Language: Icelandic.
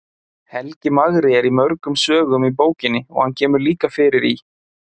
Helgi magri er í mörgum sögum í bókinni og hann kemur líka fyrir í